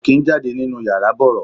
Kò kín ń jáde nínú yàrá bọ̀rọ̀.